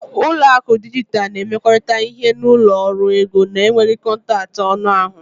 Ụlọ akụ dijitalụ na-emekọrịta ihe na ụlọ ọrụ ego na-enweghị kọntaktị anụ ahụ.